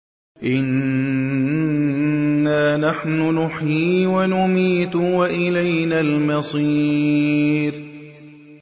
إِنَّا نَحْنُ نُحْيِي وَنُمِيتُ وَإِلَيْنَا الْمَصِيرُ